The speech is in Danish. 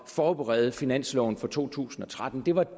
forberede finansloven for to tusind og tretten det var